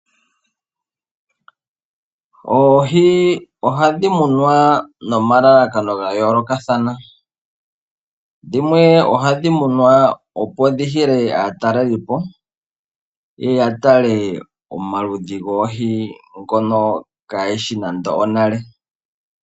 Oohi ohadhi munwa nomalalakano ga yoolokathana. Dimwe ohadhi munwa opo dhi nane aatalelipo , ye ye ya tale omaludhi goohi ngoka kaayeshi nando onale.